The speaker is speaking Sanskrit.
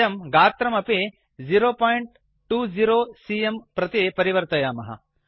वयं गात्रमपि 020सीएम प्रति परिवर्तयामः